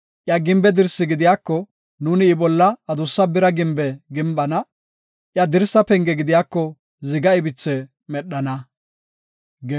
Iya gimbe dirsi gidiyako, nuuni I bolla adussa bira gimbe gimbana; iya dirsa penge gidiyako ziga ibithe medhana.